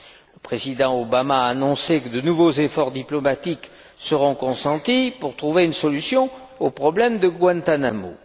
Le président Obama a annoncé que de nouveaux efforts diplomatiques seront consentis pour trouver une solution au problème de Guantánamo.